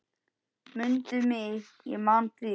Mundu mig ég man þig.